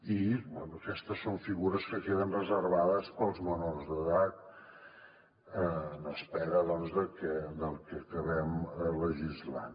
i bé aquestes són figures que queden reservades per als menors d’edat en espera del que acabem legislant